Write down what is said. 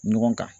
Ɲɔgɔn kan